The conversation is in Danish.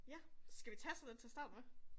Ja, skal vi tage sådan en til at starte med?